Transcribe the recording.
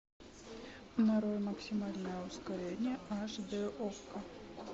нарой максимальное ускорение аш дэ окко